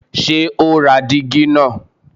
Ṣé ó ra dígí náà?